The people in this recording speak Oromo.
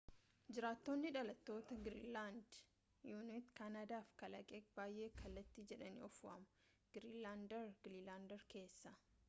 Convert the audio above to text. jirtaatoni dhalatoota giriinland inu’it kanaada fi kalaleeq baayee kalaliit jedhaani of waamu giriinlandaar giriinlandaar keessa